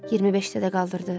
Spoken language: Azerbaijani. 25-də də qaldırdı.